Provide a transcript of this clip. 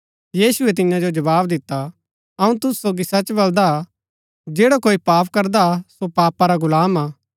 यीशुऐ तियां जो जवाव दिता अऊँ तुसु सोगी सच बलदा जैडा कोई पाप करदा सो पापा रा गुलाम हा